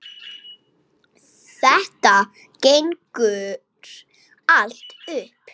Þetta gengur allt upp.